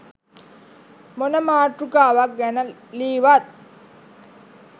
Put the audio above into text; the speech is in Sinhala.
මොන මාතෘකාවක් ගැන ලීවත්